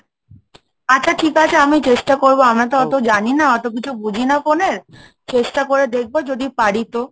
আচ্ছা ঠিক আছে আমি চেষ্টা করবো আমরা তো অতো জানি না অত কিছু বুঝি না phone এর, চেষ্টা করে দেখবো যদি পারি তো?